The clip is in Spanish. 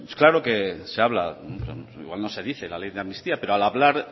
claro que se habla igual no se dice la ley de amnistía pero al hablar